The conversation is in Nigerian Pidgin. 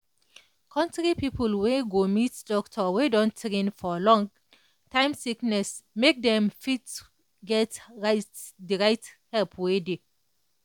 country people need go meet doctor wey don train for long-time sickness make dem fit get right the right help wey dey.